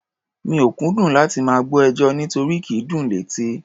Mi ò kúndùn láti máa gbọ́ ẹjọ́, nírotí kì í dùn létí.